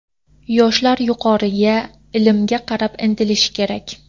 Yoshlar yuqoriga, ilmga qarab intilishi kerak.